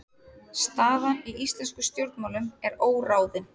Staðan í íslenskum stjórnmálum er óráðin